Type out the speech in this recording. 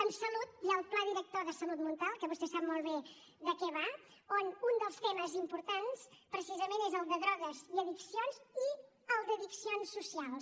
a salut hi ha el pla director de salut mental que vostè sap molt bé de què va on un dels temes importants precisament és el de drogues i addiccions i el d’addiccions socials